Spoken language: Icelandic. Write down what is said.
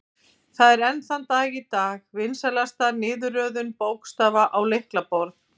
Það er enn þann dag í dag vinsælasta niðurröðun bókstafa á lyklaborð.